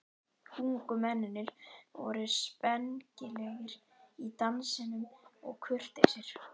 Ungu mennirnir voru spengilegir í dansinum og kurteisir.